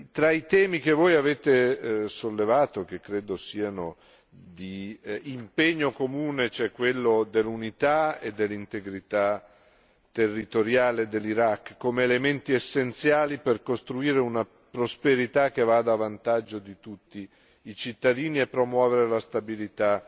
Tra i temi che voi avete sollevato, che credo siano di impegno comune, c'è quello dell'unità e dell'integrità territoriale dell'Iraq come elementi essenziali per costruire una prosperità che vada a vantaggio di tutti i cittadini e promuovere la stabilità